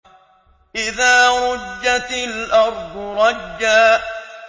إِذَا رُجَّتِ الْأَرْضُ رَجًّا